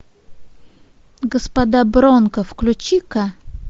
господа бронко включи ка